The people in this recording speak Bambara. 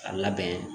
A labɛn